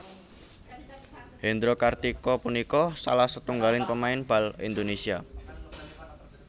Hendro Kartiko punika salah setunggaling pemain bal Indonésia